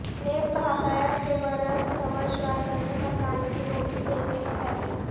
NAB کا حقائق کے برعکس خبرشائع کرنے پر قانونی نوٹس بھیجنے کا فیصلہ